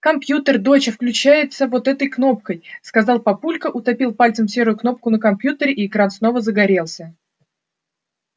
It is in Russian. компьютер доча включается вот этой кнопкой сказал папулька утопил пальцем серую кнопку на компьютере и экран снова загорелся